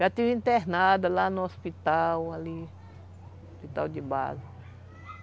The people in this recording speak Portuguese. Já estive internada lá no hospital ali, hospital de base.